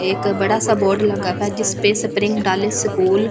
एक बड़ा सा बोर्ड लगा जिस पे स्प्रिंग डाली स्कूल --